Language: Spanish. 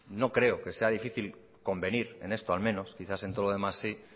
no creo que sea difícil convenir en esto al menos quizás en todo lo demás sí